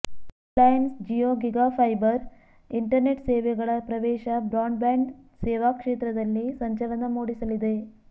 Reliance Jio gigafiber internet ಸೇವೆಗಳ ಪ್ರವೇಶ broadband ಸೇವಾ ಕ್ಷೇತ್ರದಲ್ಲಿ ಸಂಚಲನ ಮೂಡಿಸಲಿದೆ